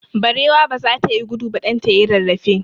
Barewa baza ta yi gudu ba, ɗan ta yayi rarrafe.